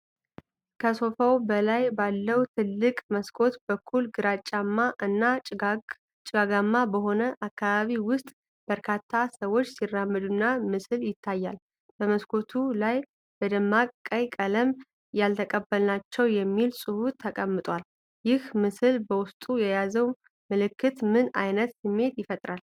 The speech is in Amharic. ከሶፋ በላይ ባለው ትልቅ መስኮት በኩል፣ ግራጫማ እና ጭጋጋማ በሆነ አካባቢ ውስጥ በርካታ ሰዎች ሲራመዱና ምስል ይታያል፤ በመስኮቱ ላይ በደማቅ ቀይ ቀለም "የተቀበልናቸው" የሚል ጽሑፍ ተቀምጧል። ይህ ምስል በውስጡ የያዘው መልዕክት ምን ዓይነት ስሜት ይፈጥራል?